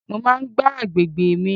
Mo máa ń gbá àgbègbè mi.